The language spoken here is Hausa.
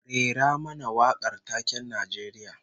Rera mana wakar taken Najeriya